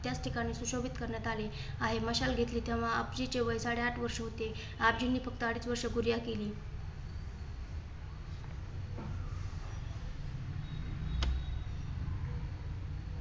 त्याच ठिकाणी सुशोभित करण्यात आली आहे. मशाल घेतली तेव्हा आपजी चे वय साडे आठ वर्ष होते. आपजीनी फक्त अडीच वर्ष केली.